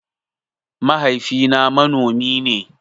Mahaifi na manomi ne